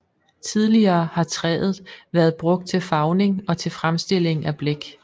Tidligere har træet været brugt til farvning og til fremstilling af blæk